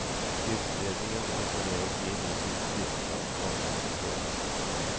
Utredningen är på väg in i sitt sista och avgörande skede.